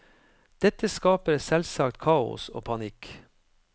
Dette skaper selvsagt kaos og panikk.